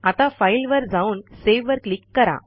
आता फाइल वर जाऊन Saveवर क्लिक करा